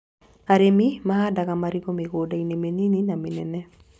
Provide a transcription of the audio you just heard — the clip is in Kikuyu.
Arĩmi mahandaga marigũ mĩgunda-inĩ mĩnini na mĩnene